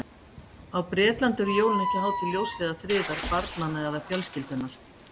Á Bretlandi eru jólin ekki hátíð ljóss eða friðar, barnanna eða fjölskyldunnar.